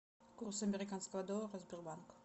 курс американского доллара сбербанк